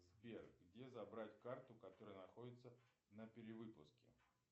сбер где забрать карту которая находится на перевыпуске